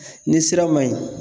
ni sira ma ɲi